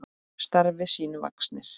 Starfi sínu vaxnir.